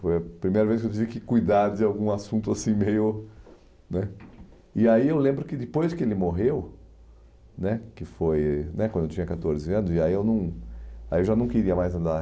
Foi a primeira vez que eu tive que cuidar de algum assunto assim meio né... E aí eu lembro que depois que ele morreu né, que foi né quando eu tinha catorze anos, aí eu não aí eu já não queria mais andar.